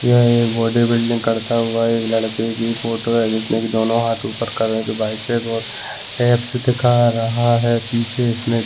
यह एक body building करता हुआ एक लड़के की फोटो है जिसने की दोनों हाथ उपर करें जो बाईसेप और एप्स दिखा रहा है पीछे इसने --